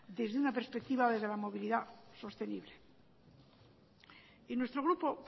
desde una perspectiva de la movilidad sostenible y nuestro grupo